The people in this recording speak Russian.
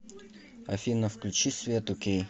афина включи свету кей